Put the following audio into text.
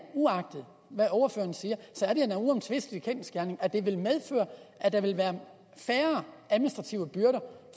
uagtet hvad ordføreren siger en uomtvistelig kendsgerning at det vil medføre at der vil være færre administrative byrder